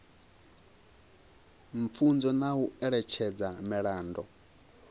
pfunzo na u eletshedza miraḓo